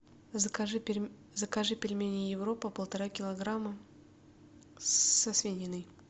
закажи пельмени европа полтора килограмма со свининой